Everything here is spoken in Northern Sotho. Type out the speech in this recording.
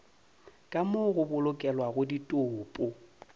ka moo go bolokelwago ditopo